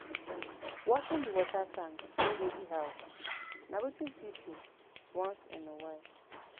Washing di water tanks wey dey di house na wetin fit do once in a while